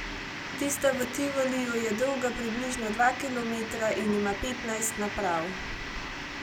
Tista v Tivoliju je dolga približno dva kilometra in ima petnajst naprav.